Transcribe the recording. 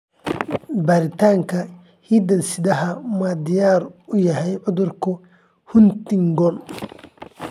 Baaritaanka hidde-sidaha ma diyaar u yahay cudurka Huntington?